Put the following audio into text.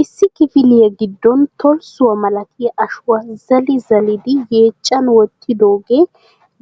Issi kifiliya giddon tollisuwa malatiyaa ashuwa zalli zallidi yeeccan wottidooge